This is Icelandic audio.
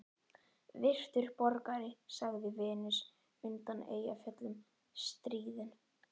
Virtur borgari, sagði Venus undan Eyjafjöllum stríðin.